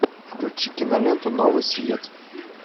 включи киноленту новый свет